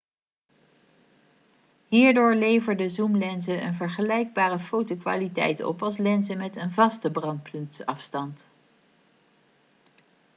hierdoor leverden zoomlenzen een vergelijkbare fotokwaliteit op als lenzen met een vaste brandpuntsafstand